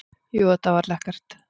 Jú, þetta var lekkert.